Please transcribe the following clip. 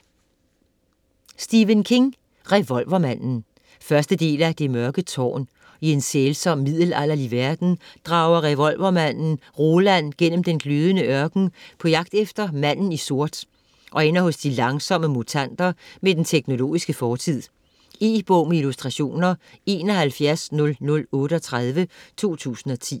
King, Stephen: Revolvermanden 1. del af Det mørke tårn. I en sælsom middelalderlig verden drager revolvermanden Roland gennem den glødende ørken på jagt efter manden i sort og ender hos de langsomme mutanter med den teknologiske fortid. E-bog med illustrationer 710038 2010.